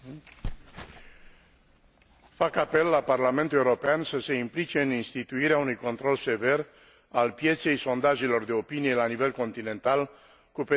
Fac apel la Parlamentul European să se implice în instituirea unui control sever al pieței sondajelor de opinie la nivel continental, cu pedepse exemplare pentru infractori.